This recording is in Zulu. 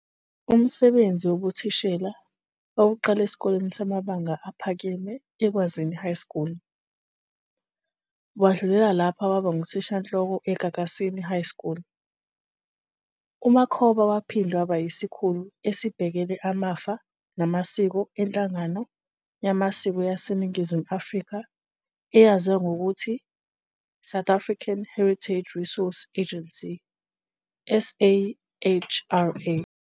Umsbenzi wobuthishela wawuqala esikoleni samabanga aphekeme eKwazini High School, wadlulela lapha waba nguthishanhloko eGagasini High School. UMakhoba wahinde waba yiskhulu esibehkele amfa namasiko enhlanganwe yamasiko yaseNingimu Afrika eyaziwa ngokuthi, "South African Heritage Resource Agency, SAHRA.